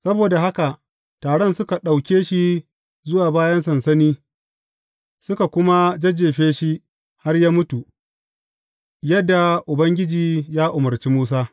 Saboda haka taron suka ɗauke shi zuwa bayan sansani, suka kuma jajjefe shi har ya mutu, yadda Ubangiji ya umarci Musa.